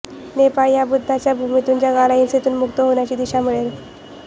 नेपाळ या बुद्धाच्या भूमीतून जगाला हिंसेतून मुक्त होण्याची दिशा मिळेल